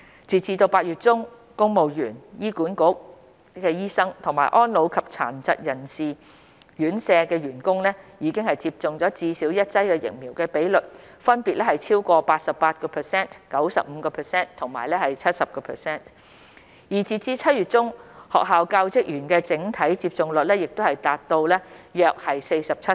截止8月中，公務員、醫管局醫生和安老及殘疾人士院舍員工已接種至少一劑疫苗的比率分別超過 88%、95% 和 70%， 而截至7月中，學校教職員的整體接種率亦達到約 47%。